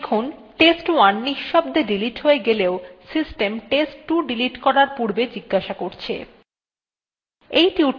দেখুন test1 নিঃশব্দে delete হয়ে গেলেও system test2 ডিলিট করার পূর্বে জিজ্ঞাসা করে